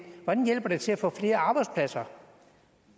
at til at få flere arbejdspladser